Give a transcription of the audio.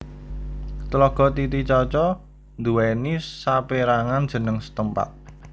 Tlaga Titicaca nduwèni sapérangan jeneng setempat